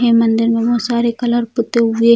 यह मंदिर में बहुत सारे कलर पुत्ते हुए --